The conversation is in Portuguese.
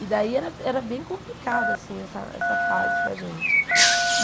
E daí era era bem complicado, assim, essa essa fase para a gente.